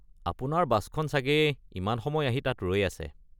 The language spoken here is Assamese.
আপোনাৰ বাছখন চাগে ইমান সময় আহি তাত ৰৈ আছে।